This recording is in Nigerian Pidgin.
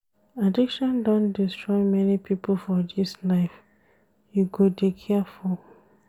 Addiction don destroy many pipo for dis life, you go dey careful.